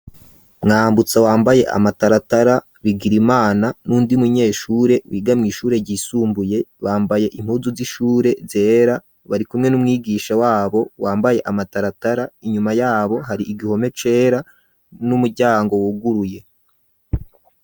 Mwambutsa wambaye amataratara, Bigirimana n'undi munyeshure biga mu ishure ryisumbuye, bambaye impuzu z'ishure zera, bari kumwe n'umwigisha wabo wambaye amataratara, inyuma yabo hari igihome cera n'umuryango wuguruye.